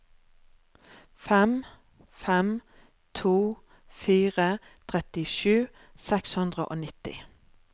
fem fem to fire trettisju seks hundre og nitti